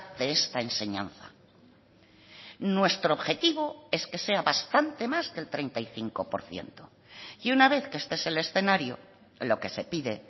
de esta enseñanza nuestro objetivo es que sea bastante más que el treinta y cinco por ciento y una vez que este es el escenario lo que se pide